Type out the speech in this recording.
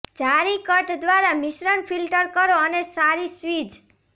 જાળી કટ દ્વારા મિશ્રણ ફિલ્ટર કરો અને સારી સ્વીઝ